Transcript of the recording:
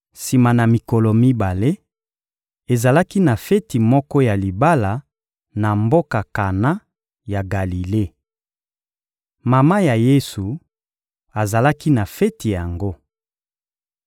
Sima na mikolo mibale, ezalaki na feti moko ya libala na mboka Kana ya Galile. Mama ya Yesu azalaki na feti yango.